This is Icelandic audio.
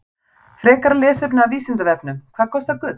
Frekara lesefni af Vísindavefnum: Hvað kostar gull?